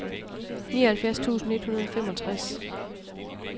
nioghalvfjerds tusind et hundrede og femogtres